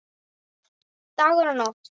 Dagur og Nótt.